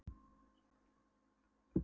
Hún sá glitta á hvítu duluna í hlaðvarpanum.